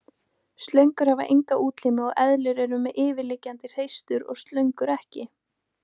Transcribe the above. Slöngur hafa enga útlimi og eðlur eru með yfirliggjandi hreistur en slöngur ekki.